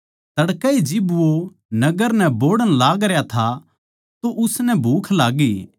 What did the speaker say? तड़कए जिब वो नगर नै बोहड़ण लागरया था तो उसनै भूख लाग्गी